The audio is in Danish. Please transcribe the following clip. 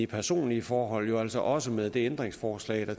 personlige forhold jo altså også med det tidligere ændringsforslag der